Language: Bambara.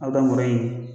A bɛ kɛ mɔrɔ in ye